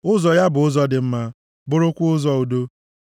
Ụzọ ya bụ ụzọ dị mma bụrụkwa ụzọ udo.